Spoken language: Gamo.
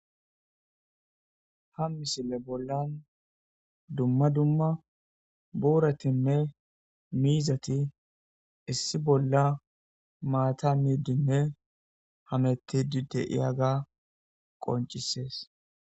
ha misile bollan dumma dumma buuratinne miizati issi bolla maata miiddinne hamettidi de'iyaga qoncisees